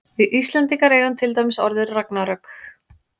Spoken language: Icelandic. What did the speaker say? við íslendingar eigum til dæmis orðið ragnarök